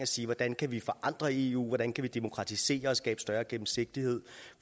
sige hvordan kan vi forandre eu hvordan kan vi demokratisere og skabe større gennemsigtighed